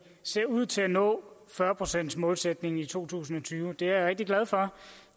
ser ud til at nå fyrre procentsmålsætningen i to tusind og tyve og det er jeg rigtig glad for